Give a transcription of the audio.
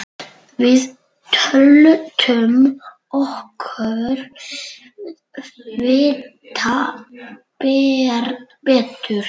Við töldum okkur vita betur.